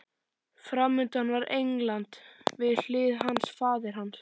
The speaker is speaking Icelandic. Framundan var England, við hlið hans faðir hans